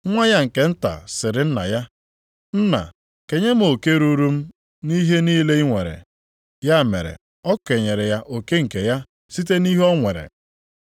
Nwa ya nke nta sịrị nna ya, ‘Nna, kenye m oke ruuru m nʼihe niile i nwere.’ Ya mere, o kenyere ya oke nke ya site nʼihe o nwere.